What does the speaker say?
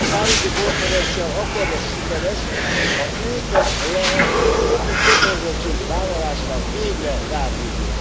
A Párizsi Konferencia akkor lesz sikeres, ha őket lehet jogi kötelezettségvállalásra végre rábírni.